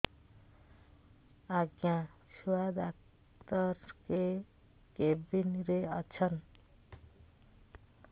ଆଜ୍ଞା ଛୁଆ ଡାକ୍ତର କେ କେବିନ୍ ରେ ଅଛନ୍